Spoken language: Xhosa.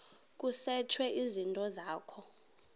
kusetshwe izinto zakho